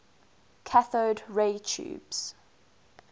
cathode ray tubes